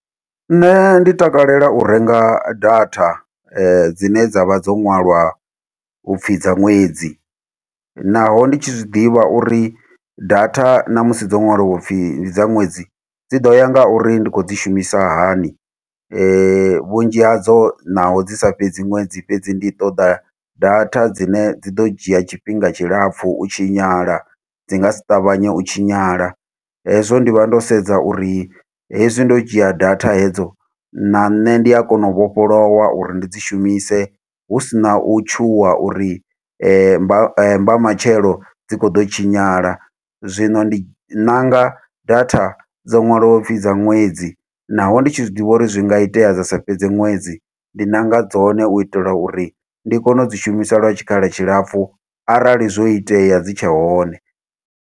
Nṋe ndi takalela u renga data dzine dza vha dzo ṅwaliwa u pfi dza ṅwedzi. Naho ndi tshi zwiḓivha uri data na musi dzo nwaliwa upfi ndi dza ṅwedzi, dzi ḓo ya nga uri ndi khou dzi shumisa hani. Vhunzhi hadzo naho dzi sa fhedzi ṅwedzi, fhedzi ndi ṱoḓa data dzine dzi ḓo dzhia tshifhinga tshilapfu u tshinyala, dzi nga si ṱavhanye u tshinyala. Hezwo ndi vha ndo sedza uri hezwi ndo dzhia data hedzo, na nṋe ndi a kona u vhofholowa uri ndi dzi shumise. Hu si na u tshuwa uri mba mbamatshelo dzi khou ḓo tshinyala. Zwino ndi nanga data dzo ṅwaliwaho u pfi dza ṅwedzi, naho ndi tshi zwiḓivha uri zwi nga itea dza sa fhedze ṅwedzi. Ndi nanga dzone u itela uri ndi kone u dzi shumisa lwa tshikhala tshilapfu, arali zwo itea dzi tshe hone.